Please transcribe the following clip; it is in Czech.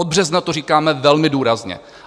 Od března to říkáme velmi důrazně.